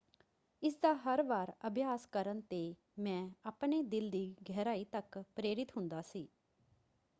"ਇਸਦਾ ਹਰ ਵਾਰ ਅਭਿਆਸ ਕਰਨ ‘ਤੇ ਮੈਂ ਆਪਣੇ ਦਿਲ ਦੀ ਗਹਿਰਾਈ ਤੱਕ ਪ੍ਰੇਰਿਤ ਹੁੰਦਾ ਸੀ।